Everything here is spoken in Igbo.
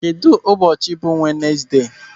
Kedụ ụbọchị bụ Wenesde?